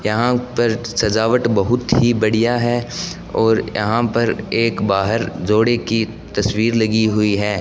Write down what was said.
यहां पर सजावट बहोत ही बढ़िया है और यहां पर एक बाहर जोडे की तस्वीर लगी हुई है।